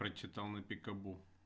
прочитал на пикабу